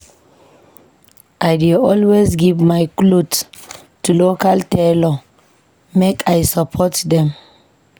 I dey always give my cloth to local tailor make I support them.